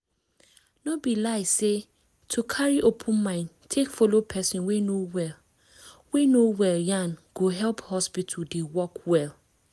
no be lie say to carry open mind take follow person wey no wey no well yan go help hospital dey work well